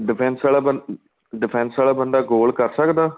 defense ਵਾਲਾ ਬੰਦਾ defense ਵਾਲਾ ਬੰਦਾ goal ਕਰ ਸਕਦਾ